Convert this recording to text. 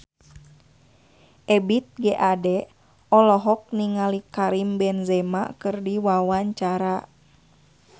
Ebith G. Ade olohok ningali Karim Benzema keur diwawancara